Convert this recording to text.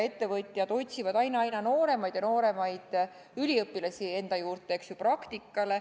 Ettevõtjad otsivad aina nooremaid ja nooremaid üliõpilasi enda juurde praktikale.